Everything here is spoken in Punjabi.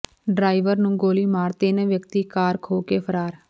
ਡਰਾਇਵਰ ਨੂੰ ਗੋਲੀ ਮਾਰ ਤਿੰਨ ਵਿਅਕਤੀ ਕਾਰ ਖੋਹ ਕੇ ਫਰਾਰ